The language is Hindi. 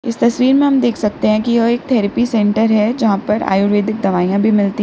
इस तस्वीर में हमें हम यह देख सकते हैं कि यह एक थेरेपी सेंटर है जहां पर आयुर्वेदिक दवाइयां भी मिलती है।